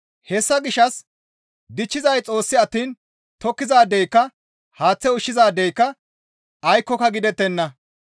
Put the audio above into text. Hessa gishshas dichchizay Xoos attiin tokkizaadeyka, haaththe ushshizaadeyka aykkoka gidettenna.